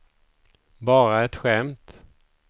bara ett skämt